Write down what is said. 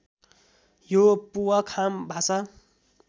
यो पुवा खाम भाषा